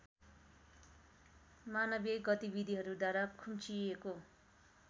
मानवीय गतिविधिहरूद्वारा खुम्चिएको